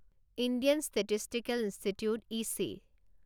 Indian Statistical Institute itchy